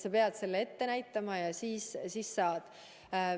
Sa pead sertifikaadi ette näitama ja siis saad teenusest osa.